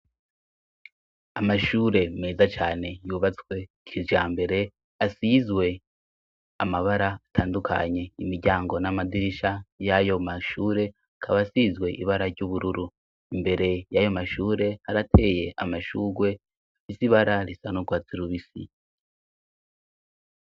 Amashure meza cane yubatswe kijambere asizwe amabara atandukanye imiryango n'amadirisha y'ayo mashure kaba asizwe ibara ry'ubururu imbere y'ayo mashure arateye amashurwe afise ibara risa n'ugwatsi rubisi.